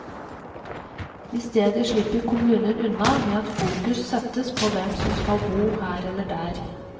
I stedet slipper kommunen unna med at fokus settes på hvem som skal bo her eller der.